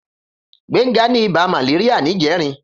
Gbenga ni ibà màléríà nijèrín